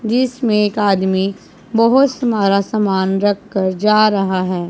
जिसमें एक आदमी बहोत सामान रख कर जा रहा है।